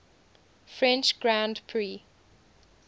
french grand prix